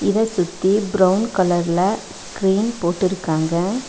இத சுத்தி பிரவுன் கலர்ல ஸ்கிரீன் போட்டுருக்காங்க.